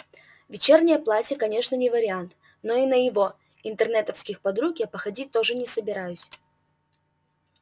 вечернее платье конечно не вариант но и на его интернетовских подруг я походить тоже не собираюсь